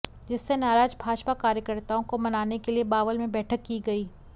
जिससे नाराज भाजपा कार्यकर्ताओं को मनाने के लिए बावल में बैठक की गई